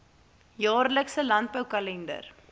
jaarlikse landbou kalender